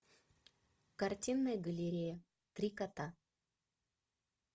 картинная галерея три кота